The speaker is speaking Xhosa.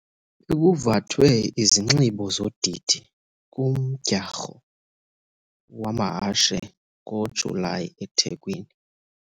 Bekuvathwe izinxibo zodidi kumdyarho wamahashe ngoJulayi eThekwini.